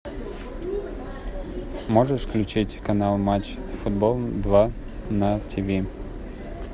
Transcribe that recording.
можешь включить канал матч футбол два на тв